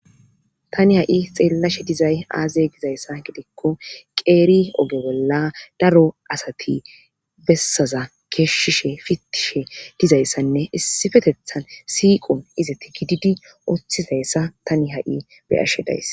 tani ha7i xeellashe dizay aazay gizayssa gidikko qeeri oge bolla daro asati bessaza keeshshishe fitishe dizayssanne issifetethan siiqon izati gididi oththizayssa tani ha7i beashe days